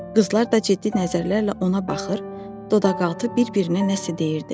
Qızlar da ciddi nəzərlərlə ona baxır, dodaqaltı bir-birinə nəsə deyirdilər.